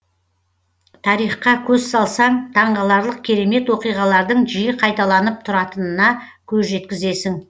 тарихқа көз салсаң таңғаларлық керемет оқиғалардың жиі қайталанып тұратынына көз жеткізесің